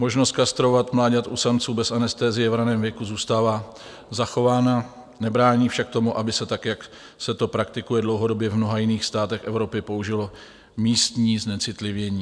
Možnost kastrovat mláďata u samců bez anestezie v raném věku zůstává zachována, nebrání však tomu, aby se tak, jak se to praktikuje dlouhodobě v mnoha jiných státech Evropy, použilo místní znecitlivění.